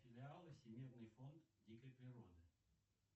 филиалы всемирный фонд дикой природы